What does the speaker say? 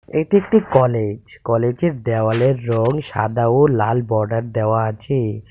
এটি একটি কলেজ কলেজের দেওয়ালের রং সাদা ও লাল বর্ডার দেওয়া আছে.